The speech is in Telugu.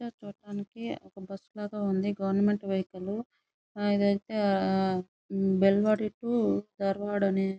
ఈ పిక్చర్ చూడటానికి ఒక బస్సు లాగా ఉంది గవర్నమెంట్ వెహికల్ ఆహ్ ఇది అయితే బెల్గావి టు ధార్వాడ్ --